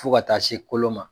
Fo ka taa se kolo ma